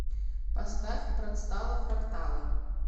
поставь працтала фрактала